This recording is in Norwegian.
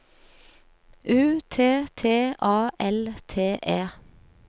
U T T A L T E